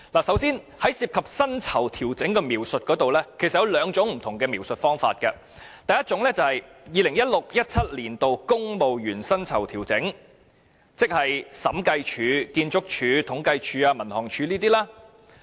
首先，涉及薪酬調整的描述有兩種不同的寫法，第一種就是 "2016-2017 年度公務員薪酬調整"，即見於審計署、建築署、政府統計處、民航處等的總目。